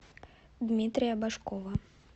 дмитрия башкова